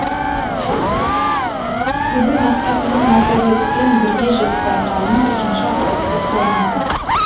бүгін мақсатыңа массагетпен бірге жет байқауының үшінші аптасы басталған күн